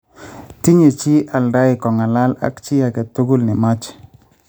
Tinye chi aldai kong�alal ak chi ake tugul ne mache